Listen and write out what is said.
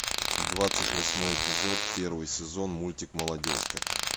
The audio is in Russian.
двадцать восьмой эпизод первый сезон мультик молодежка